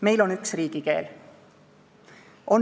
Meil on üks riigikeel.